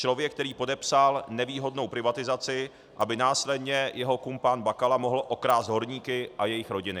Člověk, který podepsal nevýhodnou privatizaci, aby následně jeho kumpán Bakala mohl okrást horníky a jejich rodiny.